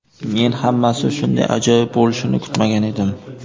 Men hammasi shunday ajoyib bo‘lishini kutmagan edim.